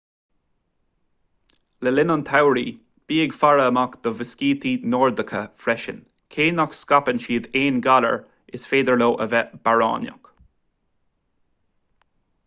le linn an tsamhraidh bí ag faire amach do mhuiscítí nordacha freisin cé nach scaipeann siad aon ghalair is féidir leo a bheith bearránach